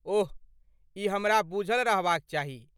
ओह, ई हमरा बुझल रहबाक चाही।